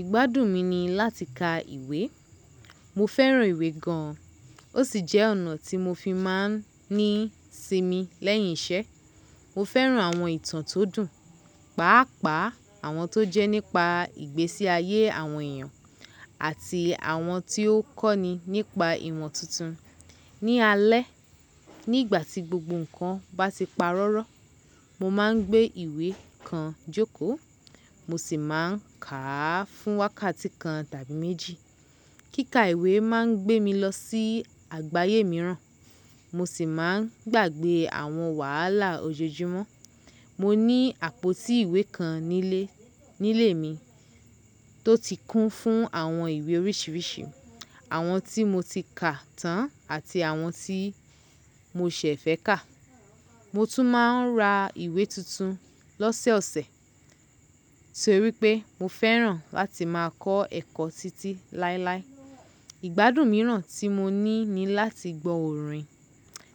Ìgbádùn mi ni láti ka ìwé. Mo fẹ́ràn ìwé gan. Ó sì jẹ́ ọ̀nà tí mo fi máa ń ní sinmi lẹ́yìn iṣẹ́. Mo fẹ́ràn àwọn ìtàn tó dùn, pàápàá àwọn tó jẹ́ nípa ìgbésí ayé àwọn èèyàn àti àwọn tí ó kọ́ni nípa ìmo tuntun. Ni alẹ́, nígbà tí gbogbo nǹkan bá ti parọ́rọ́, mo máa ń gbé ìwé kan jókòó, mo sì máa ń kà á fún wákàtí kan tàbí méjì. Kíka ìwé máa ń gbé mi lọ sí àgbáyé mìíràn, mo sì máa ń gbàgbé àwọn wàhálà ojoojúmọ́. Mo ní àpótí ìwé kan nílé, nílé mi tó ti kún fún àwọn ìwé oríṣiríṣi, àwọn tí mo ti kà tán àti àwọn tí mo ṣẹ̀ fẹ́ kà. Mo tún máa ń ra ìwé tuntun lọ́sẹ̀ ọ̀sẹ̀ torí pé mo fẹ́ràn láti máa kọ́ ẹ̀kọ́ títí láíláí. Ìgbádùn mìíràn tí mo ní ni láti gbọ́ orin.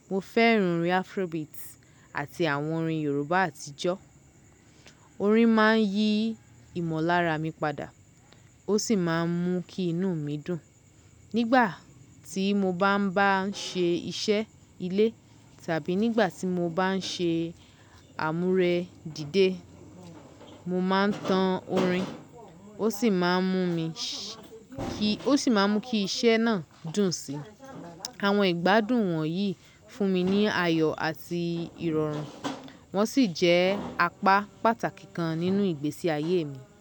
Mo fẹ́ràn orin Afrobeat àti àwọn orin Yorùbá àtijọ́. Orin máa ń yí ìmọ̀lára mi padà, ó sì máa ń mú kí inú mi dùn. Nígbà tí mo bá ń bá ń ṣe iṣẹ́ ilé tàbí nígbà tí mo bá ń ṣe àmúre dìde, mo máa ń tan orin, ó sì máa ń mú mi ṣí, ó sì máa ń mú kí iṣẹ́ náà dùn síi. Àwọn ìgbádùn wọ̀nyí fún mi ní ayọ̀ àti ìrọ̀rùn, wọ́n sì jẹ́ apá pàtàkì kan nínú ìgbésí ayé mi.